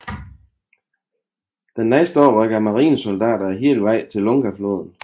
Den næste dag rykkede marinesoldaterne hele vejen til Lungafloden